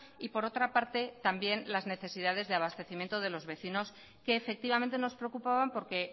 y por otra parte también las necesidades de abastecimiento de los vecinos que efectivamente nos preocupaban porque